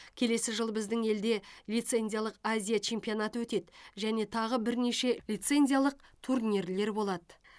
келесі жылы біздің елде лицензиялық азия чемпионаты өтеді және тағы бірнеше лицензиялық турнирлер болады